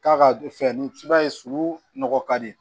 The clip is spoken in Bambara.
K'a ka fɛn ni i b'a ye sulu nɔgɔ ka di